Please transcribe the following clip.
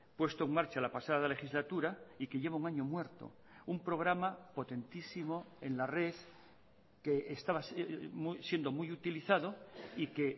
puesto en marcha la pasada legislatura y que lleva un año muerto un programa potentísimo en la red que estaba siendo muy utilizado y que